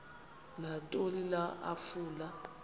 nantoni na afuna